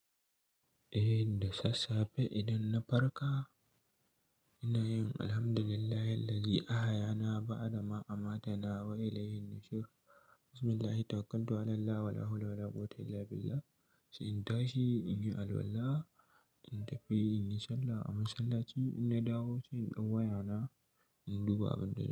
Eh da sassafe idan na farka ina yin alhamdulillahilladzi a'ahayana ba'da ma'amatana wa ilaihin nusur. Bismillahi tawakkaltu 'alallah wala hawla wala quwwata illa billah. Sai in tashi, in yi alwala, in tafi in yi sallah a masallaci, ina dawo sai in ɗau wayana, in duba abin da.